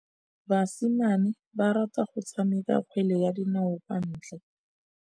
Basimane ba rata go tshameka kgwele ya dinaô kwa ntle.